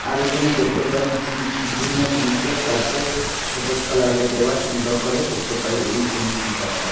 আর এইখানে দেখতে পাই জিম জিম -এর নীচে কর্পেক সবুজ কালার -এর দেওয়া সুন্দর করে দেখতে পাই এই জিম ছেন্তার -তা।